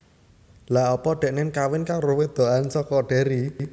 Lha opo deknen kawin karo wedokan soko Derry?